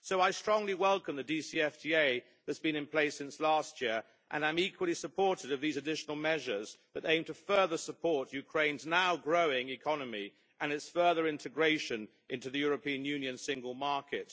So I strongly welcome the DCFTA that has been in place since last year, and I'm equally supportive of these additional measures that aim to further support Ukraine's now growing economy and its further integration into the European Union's Single Market.